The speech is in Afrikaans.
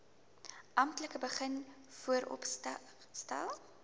amptelik begin vooropstel